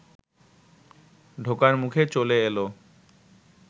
ঢোকার মুখে চলে এলো